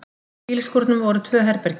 Í bílskúrnum voru tvö herbergi.